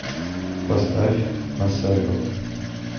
поставь масэго